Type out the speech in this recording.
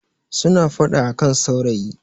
suna fada a kan saurayi